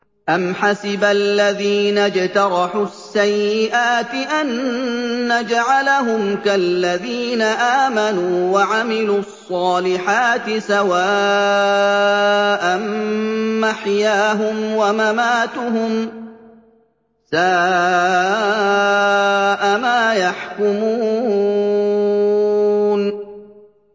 أَمْ حَسِبَ الَّذِينَ اجْتَرَحُوا السَّيِّئَاتِ أَن نَّجْعَلَهُمْ كَالَّذِينَ آمَنُوا وَعَمِلُوا الصَّالِحَاتِ سَوَاءً مَّحْيَاهُمْ وَمَمَاتُهُمْ ۚ سَاءَ مَا يَحْكُمُونَ